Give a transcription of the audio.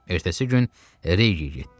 Ertəsi gün Rehiyə getdi.